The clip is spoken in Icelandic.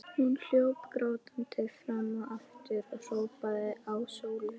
Hún hljóp grátandi fram og aftur og hrópaði á Sólu.